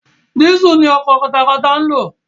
Diesel ni ọkọ̀ katakata ń lò.